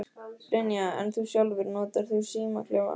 Brynja: En þú sjálfur, notar þú símaklefa?